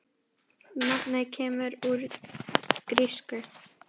Nafnið kemur úr grísku